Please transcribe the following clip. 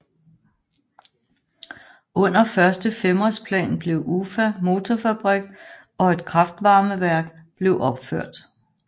Under Første femårsplan blev Ufa Motorfabrik og et kraftvarmeværk blev opført